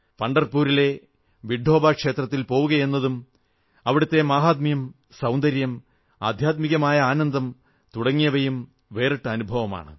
പംഢർപൂരിലെ വിട്ഠോബാ ക്ഷേത്രത്തിൽ പോവുകയെന്നതും അവിടത്തെ മാഹാത്മ്യം സൌന്ദര്യം ആധ്യാത്മികമായ ആനന്ദം തുടങ്ങിയവയും വേറിട്ട അനുഭവമാണ്